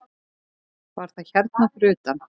Var það hérna fyrir utan?